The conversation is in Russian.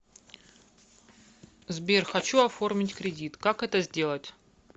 сбер хочу оформить кредит как это сделать